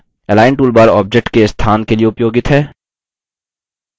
align toolbar objects के स्थान के लिए उपयोगित है